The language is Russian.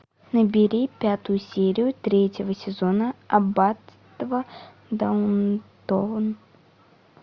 набери пятую серию третьего сезона аббатство даунтон